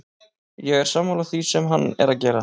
Ég er sammála því sem hann er að gera.